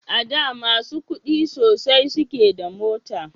A da masu kudi sosai suke da mota